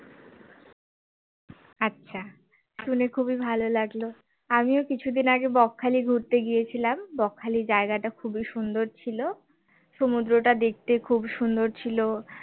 আচ্ছা শুনে খুবই ভাল লাগল আমিও কিছুদিন আগে বকখালি ঘুরতে গিয়েছিলাম বকখালি জায়গাটা খুবই সুন্দর ছিল সমুদ্রটা দেখতে খুব সুন্দর ছিল